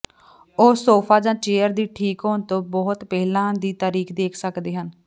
ਉਹ ਸੋਫਾ ਜਾਂ ਚੇਅਰ ਦੀ ਠੀਕ ਹੋਣ ਤੋਂ ਬਹੁਤ ਪਹਿਲਾਂ ਦੀ ਤਾਰੀਖ ਦੇਖ ਸਕਦੇ ਹਨ